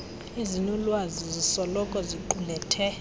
ezinolwazi zisoloko ziqulethe